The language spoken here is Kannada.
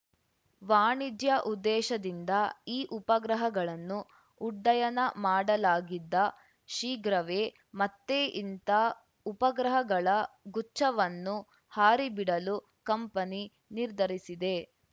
ವಾಣಿಜ್ಯ ಉದ್ದೇಶದಿಂದ ಈ ಉಪಗ್ರಹಗಳನ್ನು ಉಡ್ಡಯನ ಮಾಡಲಾಗಿದ್ದ ಶೀಘ್ರವೇ ಮತ್ತೆ ಇಂಥ ಉಪಗ್ರಹಗಳ ಗುಚ್ಛವನ್ನು ಹಾರಿಬಿಡಲು ಕಂಪನಿ ನಿರ್ಧರಿಸಿದೆ